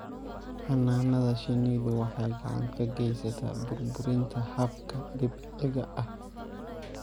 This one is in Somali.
Xannaanada shinnidu waxay gacan ka geysataa burburinta hababka dabiiciga ah.